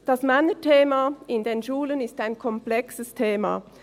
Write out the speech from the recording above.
Das Männerthema in den Schulen ist ein komplexes Thema.